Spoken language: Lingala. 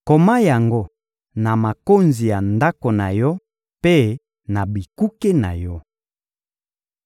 Koma yango na makonzi ya ndako na yo mpe na bikuke na yo.